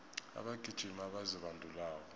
abagijimi abazibandulako